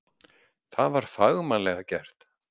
Það var fagmannlega gert